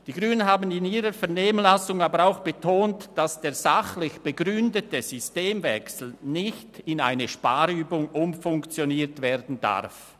Die Grünen haben in ihrer Vernehmlassung aber auch betont, dass der sachlich begründete Systemwechsel nicht in eine Sparübung umfunktioniert werden darf.